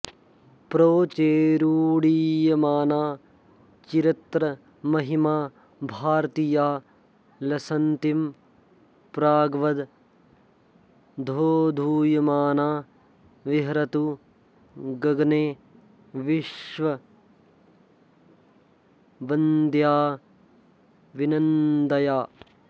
प्रोच्चैरुड्डीयमाना चिरतरमहिमा भारतीया लसन्तीं प्राग्वद् दोधूयमाना विहरतु गगने विश्वववन्द्याभिनन्द्या